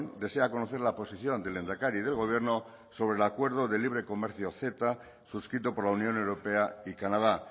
desea conocer la posición del lehendakari y del gobierno sobre el acuerdo del libre comercio ceta suscrito por la unión europea y canadá